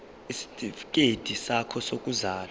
isitifikedi sakho sokuzalwa